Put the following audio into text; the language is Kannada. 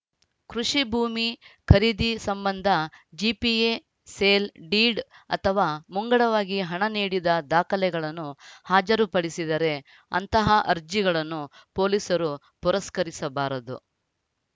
ಕೃಷಿ ಭೂಮಿ ಖರೀದಿ ಸಂಬಂಧ ಜಿಪಿಎ ಸೇಲ್‌ ಡೀಡ್‌ ಅಥವಾ ಮುಂಗಡವಾಗಿ ಹಣ ನೀಡಿದ ದಾಖಲೆಗಳನ್ನು ಹಾಜರುಪಡಿಸಿದರೆ ಅಂತಹ ಅರ್ಜಿಗಳನ್ನು ಪೊಲೀಸರು ಪುರಸ್ಕರಿಸಬಾರದು